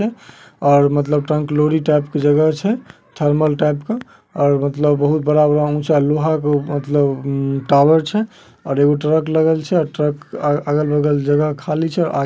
और मतलब trunk lorry type की जगह छै थर्मल टाइप का और मतलब बहुत बरा - बरा ऊंचा लोहा क उ मतलब उम्म टावर छै और एगो ट्रक लगल छै अ ट्रक अ अगल-बगल जगह खाली छै और आगे में पा --